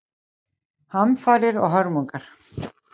Hamfarir og hörmungar